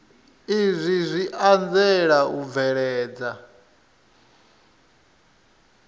izwi zwi anzela u bveledza